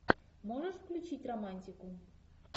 можешь включить романтику